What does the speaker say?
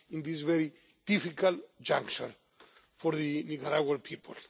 this very difficult juncture for the Nicaraguan people.